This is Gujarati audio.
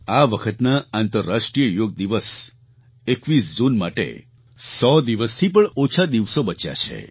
આ વખતના આંતરરાષ્ટ્રીય યોગ દિવસ 21 જૂન માટે 100 દિવસથી પણ ઓછા દિવસો બચ્યા છે